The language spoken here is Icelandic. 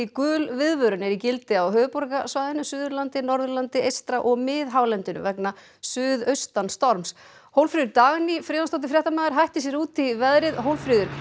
gul viðvörun er í gildi á höfuðborgarsvæðinu Suðurlandi Norðurlandi eystra og miðhálendinu vegna suðaustan storms Hólmfríður Dagný Friðjónsdóttir fréttamaður hætti sér út í veðrið Hólmfríður